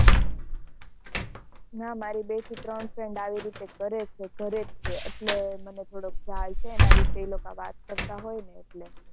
ના મારી બે થી ત્રણ friend આવી રીતે કરે જ છે ને ઘર જ છે એટલે મને થોડો ખાયલ છે એના વિશે એ લોકો વાત કરતા હોય ને એટલે